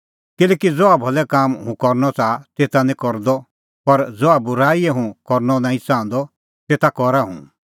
किल्हैकि ज़हा भलै कामां हुंह करनअ च़ाहा तेता निं करदअ पर ज़हा बूराईए हुंह करनअ नांईं च़ाहंदअ तेता करा हुंह